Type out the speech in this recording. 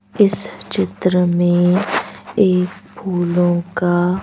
इस चित्र में एक फूलों का--